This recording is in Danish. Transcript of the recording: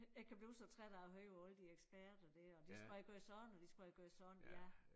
Jeg kan blive så træt af at høre på alle de eksperter der og de skulle have gjort sådan og de skulle have gjort sådan ja